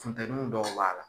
Funtɛnuw dɔw la